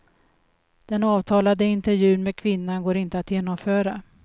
Den avtalade intervjun med kvinnan går inte att genomföra.